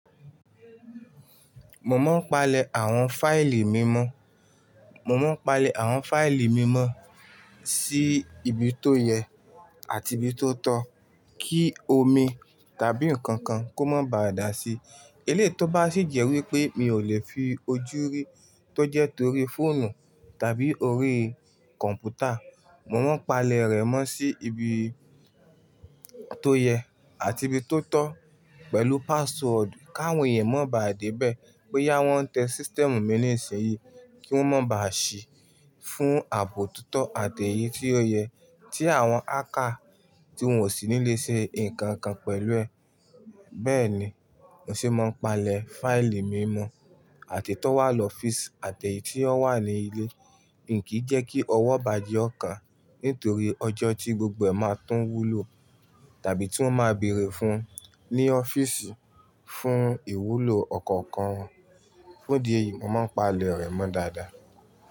Mo máa ń palẹ̀ àwọn fáìlì mímọ́, mo máa ń palẹ̀ àwọn fáìlì mímọ́ sí ibi tó yẹ àti ibi tó tọ́ kí omi tàbí nǹkan kan kó má bà dà sí. Elé to bá sì jẹ́ wípé mi ò lè fi ojú rí, tó jẹ́ torí fóònù tàbí orí kọ̀m̀pútà, mo máa ń palẹ̀ rẹ̀ mọ́ sí ibi tó yẹ àti ibi tó tọ́ pẹ̀lú password káwọn yẹn má bà dé bẹ́ẹ̀ boyá wọ́n n tẹ sistẹ̀mù mi ní ìsinyi kí wọ́n má bà ṣí fún ààbò tito àti èyí tí ó yẹ tí àwọn hacket tí wọn ò sí ní lè ṣe nǹkan kan pẹ̀lú ẹ̀. Bẹ́ẹ̀ ni, mo se máa ń palẹ̀ fáìlì mímọ́ àti tó wà lọ́fíìsì àti èyí tí ó wà ní ilé. Nkí jẹ́ kí ọwọ́ ibàjẹ ọ̀kà nítorí ọjọ́ tí gbogbo ẹ̀ máa tún wúlò tàbí tí wọ́n máa bèèrè fún un ní ọ́fíìsì fún ìwúlò ọ̀kọ̀ọ̀kan. Fún ìdí èyí, mo máa ń palẹ̀ rẹ̀ mọ́ dáadáa.